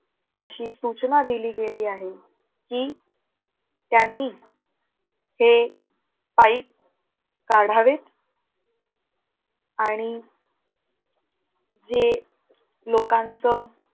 अशी सूचना दिली गेली आहे. की, त्यांनी हे pipe काढावे आणि जे लोकांचं